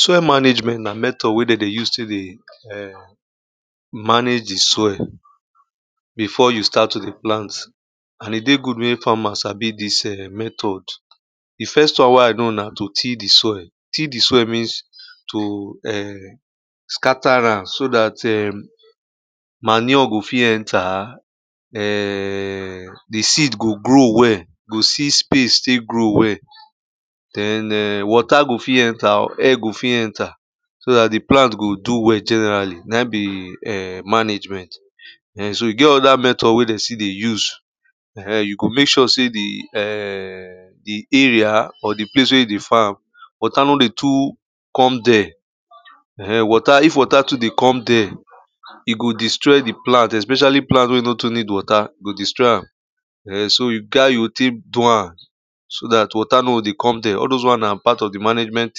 Soil management na method wey dem dey use tek dey um, manage di soil before you start to dey plant and e dey good mek farmers sabi dis um method. Di first one wey I know na to till di soil, till di soil means to um scatter am so dat um manure go fit enter, um di seed go grow well go see space tek grow well, den um water go fit enter or air go fit enter so dat di plant go do well generally, na e be um management. um so e get other method wey dem still dey use um, you go mek sure sey di area or di place wey you dey farm water no dey too come dere, um water if water too dey come there e go destroy di plant especially plant wey no too need water e go destroy am, um so e get as you go tek do am so dat water no go dey come dere all dose one, na part of di management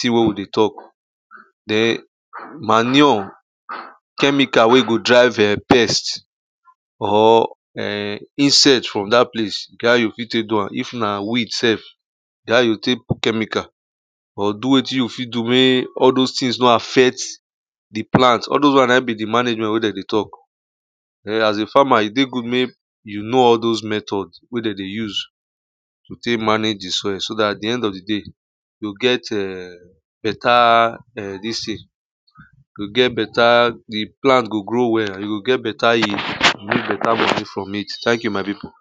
thing wey we dey talk, den manure, chemical wey go drive um pests or um insect from dat place, e get how you fit tek do am, if na weed sef e get how you go tek put chemical or do wetin you fit do mek all dose things no affect di plant, all dose one na e be di management wey dem dey talk. um As a farmer e dey good mek you know all dose method wey dem dey use to tek manage di soil so at di end of di day you go get um better, um dis thing, you go get better di plant go grow well, you go get better yield and mek better money from it. Thank you my pipu.